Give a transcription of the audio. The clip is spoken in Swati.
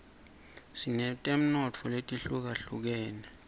sinetemnotfo letihlukahlukenus